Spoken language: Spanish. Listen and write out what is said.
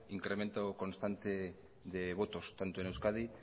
incremento constante de votos tanto en euskadi